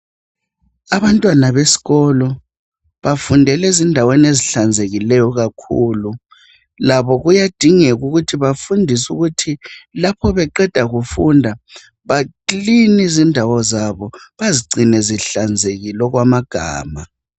Abantwana besikolo bafundela ezindaweni ehlanzekileyo kakhulu, labo kuyadingeka ukuthi nxa beqeda bacline izindawo zabo bazigcine zihlanzekile okwamagama.